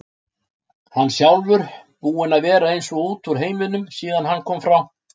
Hann sjálfur búinn að vera eins og út úr heiminum síðan hann kom frá